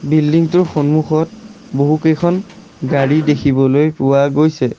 Building টোৰ সন্মুখত বহুকেইখন গাড়ী দেখিবলৈ পোৱা গৈছে।